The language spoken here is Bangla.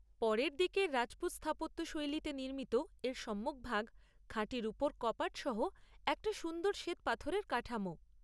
পরের দিকের রাজপুত স্থাপত্য শৈলীতে নির্মিত, এর সম্মুখভাগ খাঁটি রুপোর কপাট সহ একটা সুন্দর শ্বেতপাথরের কাঠামো।